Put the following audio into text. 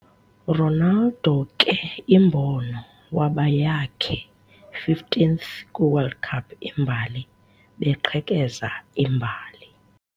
Ronaldo ke imbono waba yakhe 15th kwi World Cup imbali, beqhekeza imbali.